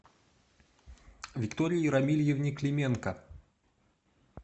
виктории рамильевне клименко